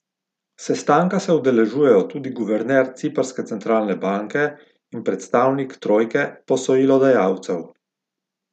Sestanka se udeležujejo tudi guverner ciprske centralne banke in predstavnik trojke posojilodajalcev.